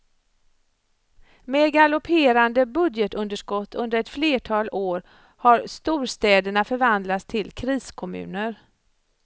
Med galopperande budgetunderskott under ett flertal år har storstäderna förvandlats till kriskommuner.